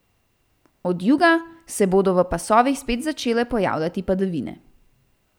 Od juga se bodo v pasovih spet začele pojavljati padavine.